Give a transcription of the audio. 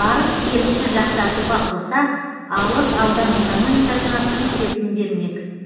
барыс келісті жақсартуға қоса алыс аудан экономикасына тың серпін бермек